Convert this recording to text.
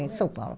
Em São Paulo.